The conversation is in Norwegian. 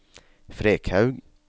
Frekhaug